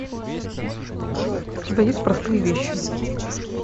у тебя есть простые вещи